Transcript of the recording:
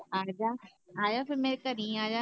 ਆਜਾ ਆਜਾ ਫਿਰ ਮੇਰੇ ਘਰੀ ਆਜਾ ਨਾ।